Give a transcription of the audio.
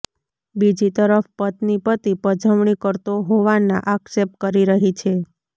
બીજી તરફ પત્ની પતિ પજવણી કરતો હોવાના આક્ષેપ કરી રહી છે